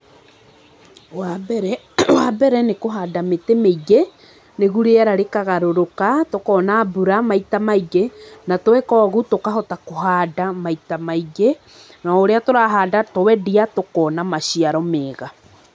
Wa mbere ni kũhanda mĩtĩ mĩingĩ, nĩguo rĩera rĩkagarũrũka, tũkona mbura maita maingi. Na tweka ũguo tũkahota kũhanda maita maingĩ. Na o ũrĩa tũrahanda, twendia, tũkona maciaro mega.